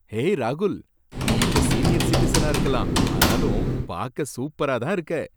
ஏய் ராகுல், நீ இப்ப சீனியர் சிட்டிசனா இருக்கலாம், ஆனாலும் பார்க்க சூப்பராதான் இருக்க.